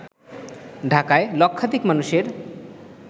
ঢাকায় লক্ষাধিক মানুষের